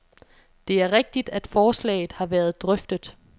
Det er rigtigt, at forslaget har været drøftet.